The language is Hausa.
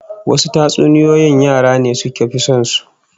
Wasu tatsuniyoyin yara ne suka fi son su